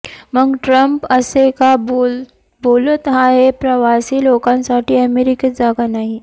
मग ट्रम्प असे का बोलत आहे प्रवासी लोकांसाठी अमेरिकेत जागा नाही